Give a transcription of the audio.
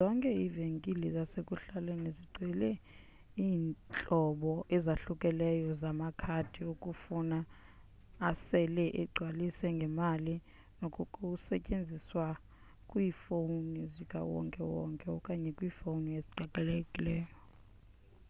zonke iivenkile zasekuhlaleni zigcwele iintlobo ezahlukeneyo zamakhadi okufowuna asele egcwaliswe ngemali nanokusetyenziswa kwiifowuni zikawonke wonke okanye kwiifowuni eziqhelekileyo